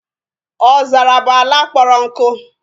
Ọzara bụ ala kpọrọ nkụ